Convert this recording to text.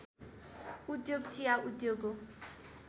उद्योग चिया उद्योग हो